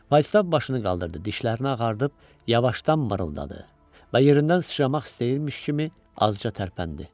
Faustaf başını qaldırdı, dişlərini ağardıb yavaşdan mırıldadı və yerindən sıçramaq istəyirmiş kimi azca tərpəndi.